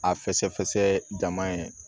A fɛsɛfɛsɛ jama ye